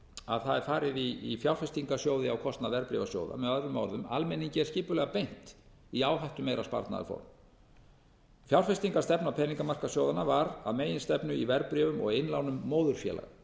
að það er farið í fjárfestingarsjóði á kostnað verðbréfasjóða með öðrum orðum almenningi er skipulega beint í áhættumeira sparnaðarform fjárfestingarstefna peningamarkaðssjóðanna var að meginstefnu í verðbréfum og innlánum móðurfélaga